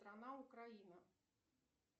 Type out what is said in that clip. страна украина